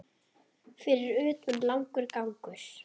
Fyrir utan langur gangur.